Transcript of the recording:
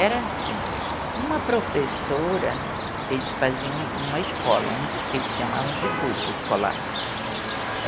Era assim, uma professora, eles faziam uma escola, um, que eles chamavam de grupo escolar, né? Aí